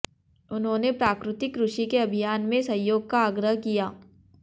उन्होंने प्राकृतिक कृषि के अभियान में सहयोग का आग्रह किया